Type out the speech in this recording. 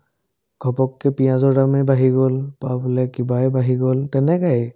ঘপককে পিয়াজৰ দামে বাঢ়ি গ'ল পুৱাবোলে কিবায়ে বাঢ়ি গ'ল তেনেকায়ে